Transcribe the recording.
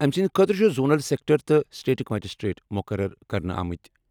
أمۍ سٕنٛدِ خٲطرٕ چھِ زونل سیکٹر تہٕ سٹیٹک مجسٹریٹ مُقرر کرنہٕ آمٕتۍ۔